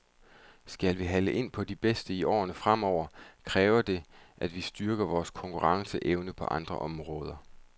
Skal vi hale ind på de bedste i årene fremover, kræver det, at vi styrker vores konkurrenceevne på andre områder.